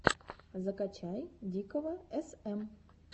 закачай дикого см